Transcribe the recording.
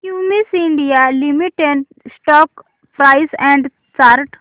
Cummins India limited stock price and chart